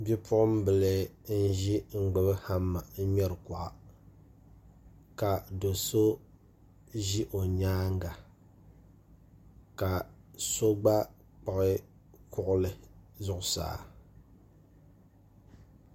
bipuɣimbila n-ʒi n-gbubi hama n-ŋmɛri kuɣa ka do' so ʒi o nyaanga ka so gba kpuɣi kuɣili zuɣusaa